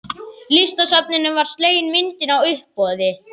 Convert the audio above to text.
Listasafninu var slegin myndin á uppboði.